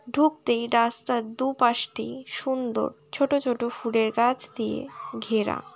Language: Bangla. ঢুকতেই রাস্তার দুপাশটি সুন্দর। ছোট ছোট ফুলের গাছ দিয়ে ঘেরা।